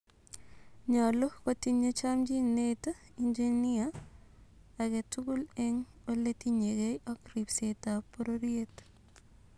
Nyolu kotinye chomchinet engineer agetugul en oletinyegei ak ripseet ap pororyeet